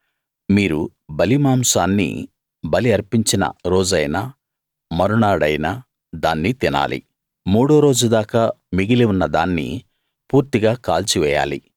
మీరు బలిమాంసాన్ని బలి అర్పించిన రోజైనా మరునాడైనా దాన్ని తినాలి మూడో రోజు దాకా మిగిలి ఉన్న దాన్ని పూర్తిగా కాల్చివేయాలి